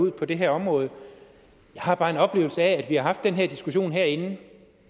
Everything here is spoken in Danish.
ud på det her område jeg har bare en oplevelse af at vi har haft den her diskussion herinde